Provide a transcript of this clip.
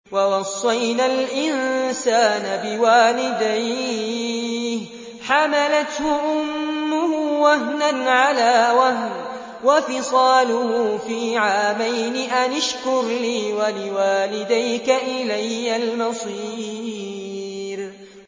وَوَصَّيْنَا الْإِنسَانَ بِوَالِدَيْهِ حَمَلَتْهُ أُمُّهُ وَهْنًا عَلَىٰ وَهْنٍ وَفِصَالُهُ فِي عَامَيْنِ أَنِ اشْكُرْ لِي وَلِوَالِدَيْكَ إِلَيَّ الْمَصِيرُ